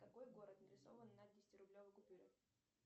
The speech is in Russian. какой город нарисован на десятирублевой купюре